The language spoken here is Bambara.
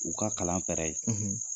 U ka kalan ye